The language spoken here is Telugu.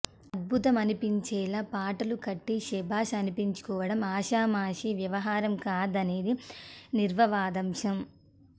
అద్భుతమనిపించేలా పాటలు కట్టి శభాష్ అనిపించుకోవటం ఆషామాషీ వ్యవహారం కాదనేది నిర్వివాదాంశం